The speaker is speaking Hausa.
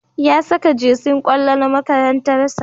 Ya saka jesin kwallo na makarantar sa